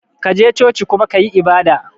kaje coci kuma kayi ibada.